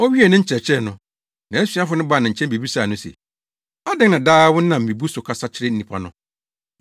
Owiee ne nkyerɛkyerɛ no, nʼasuafo no baa ne nkyɛn bebisaa no se, “Adɛn na daa wonam mmebu so kasa kyerɛ nnipa no?”